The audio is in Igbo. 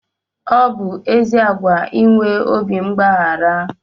Ọ bụ ezi àgwà inwe obi mgbaghara